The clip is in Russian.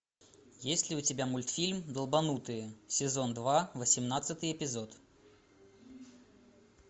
есть ли у тебя мультфильм долбанутые сезон два восемнадцатый эпизод